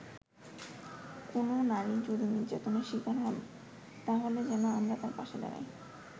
কোন নারী যদি নির্যাতনের শিকার হন তাহলে যেন আমরা তার পাশে দাঁড়াই”।